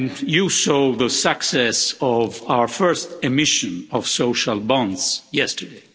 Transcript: You saw the success of our first emission of social bonds yesterday.